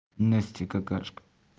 настя какашка